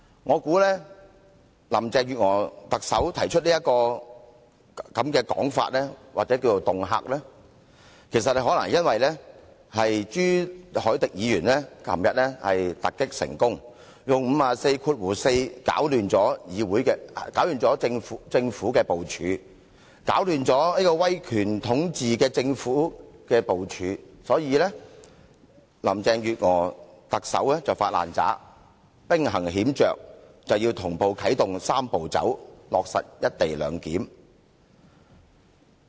我想特首林鄭月娥提出這種說法或恫嚇，可能因為朱凱廸議員昨天突擊成功，用《議事規則》第544條擾亂了政府的部署，擾亂了威權統治的政府的部署，所以特首林鄭月娥"發爛渣"，兵行險着，同步啟動"三步走"程序，落實"一地兩檢"。